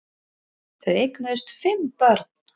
Þau eignuðust fimm börn